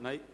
– Nein.